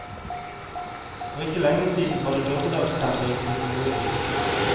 For ikke lenge siden var det dommedagsstemning i kommunen.